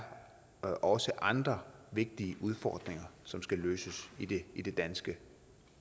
også andre vigtige udfordringer som skal løses i det danske